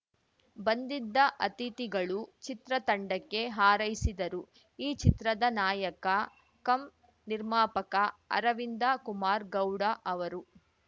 ಬಂದಿದ್ದ ಅತಿಥಿಗಳು ಚಿತ್ರತಂಡಕ್ಕೆ ಹಾರೈಸಿದರು ಈ ಚಿತ್ರದ ನಾಯಕ ಕಂ ನಿರ್ಮಾಪಕ ಅರವಿಂದ ಕುಮಾರ್‌ ಗೌಡ ಅವರು